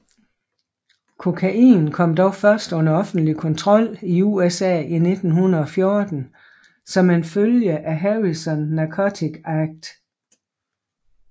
Kokain kom dog først under offentlig kontrol i USA i 1914 som en følge af Harrison Narcotic Act